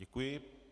Děkuji.